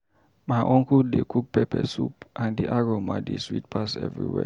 My uncle dey cook pepper soup, and the aroma dey sweet pass everywhere.